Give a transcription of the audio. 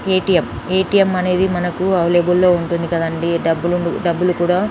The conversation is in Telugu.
ఏ.టీ.ఎం అనేది మనకు అవైలబుల్ లొ ఉంటుంది కదా అండి డబ్బులు కూడా --